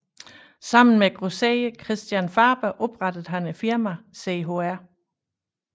Sammen med grosserer Christian Faber oprettede han firmaet Chr